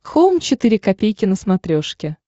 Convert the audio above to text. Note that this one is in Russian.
хоум четыре ка на смотрешке